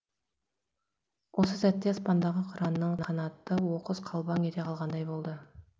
осы сәтте аспандағы қыранның қанаты оқыс қалбаң ете қалғандай болды